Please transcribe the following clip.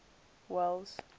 welles